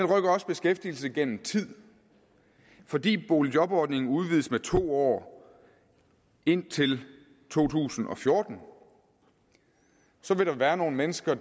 rykker også beskæftigelse gennem tid fordi boligjobordningen udvides med to år indtil to tusind og fjorten vil der være nogle mennesker